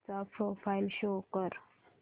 चा profile show कर